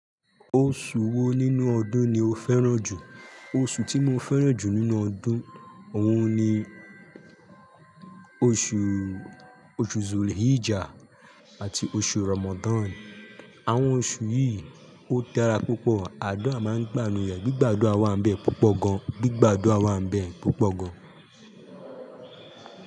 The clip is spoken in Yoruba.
Oṣù wo nínú ọdún ni o fẹ́ràn jù? Oṣù tí mo fẹ́ràn jù nínú ọdún òun ni oṣù, oṣù Zulhijjah àti oṣù Ramadan. Àwọn oṣù yìí ó dara púpọ̀, àdura máa ń gbà ninu re, gbígba àdura wa ńibẹ púpọ̀ gan an gbígba àdura wa ńibẹ púpọ̀ gan an.